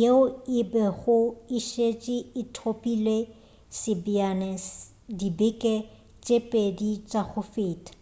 yeo e bego e šetše e thopile sebjana dibeke tše pedi tša go feta